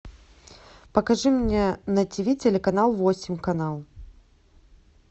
покажи мне на ти ви телеканал восемь канал